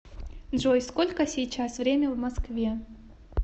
джой сколько сейчас время в москве